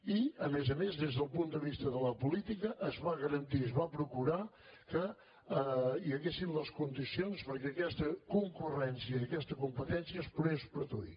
i a més a més des del punt de vista de la política es va garantir i es va procurar que hi haguessin les condicions perquè aquesta concurrència i aquesta competència es pogués produir